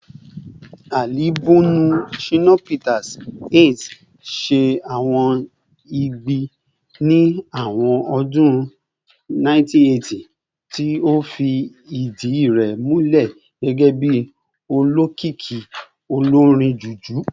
Alibọọmu Shina Peters "Ace" ṣe awọn igbi ni awọn ọdun 1980, ti o fi idi rẹ mulẹ gẹgẹbi olokiki olorin Juju.